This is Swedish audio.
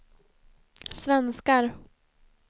svenskar